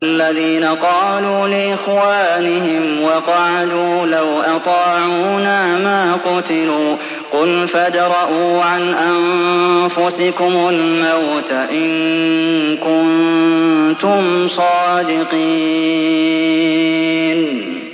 الَّذِينَ قَالُوا لِإِخْوَانِهِمْ وَقَعَدُوا لَوْ أَطَاعُونَا مَا قُتِلُوا ۗ قُلْ فَادْرَءُوا عَنْ أَنفُسِكُمُ الْمَوْتَ إِن كُنتُمْ صَادِقِينَ